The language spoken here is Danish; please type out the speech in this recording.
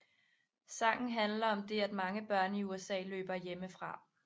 Sangen handler om det at mange børn i USA løber hjemmefra